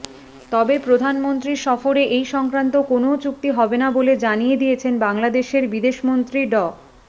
তবে প্রধানমন্ত্রীর সফরে এই সংক্রান্ত কোনও চুক্তি হবে না বলে জানিয়ে দিয়েছেন বাংলাদেশের বিদেশমন্ত্রী ড